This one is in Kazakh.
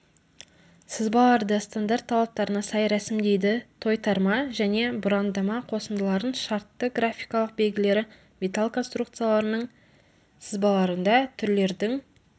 сызбаларды стандарт талаптарына сай рәсімдейді тойтарма және бұрандама қосындылардың шартты графикалық белгілері металл конструкцияларының сызбаларында түрлердің